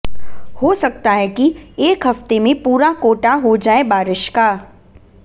हो सकता है कि एक हफ्ते में पूरा कोटा हो जाए बारिश का